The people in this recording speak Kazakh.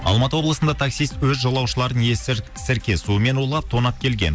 алматы облысында таксист өз жолаушыларын сірке суымен улап тонап келген